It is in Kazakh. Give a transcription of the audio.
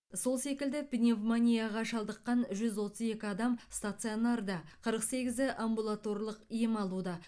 сол секілді пневмонияға шалдыққан жүз отыз екі адам стационарда қырық сегізі амбулаторлық ем алуда